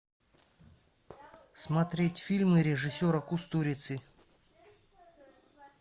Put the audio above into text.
смотреть фильмы режиссера кустурицы